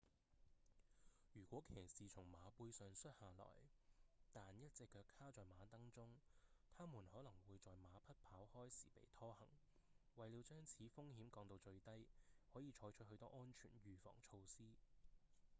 如果騎士從馬背上摔下來但一隻腳卡在馬鐙中他們可能會在馬匹跑開時被拖行為了將此風險降到最低可以採取許多安全預防措施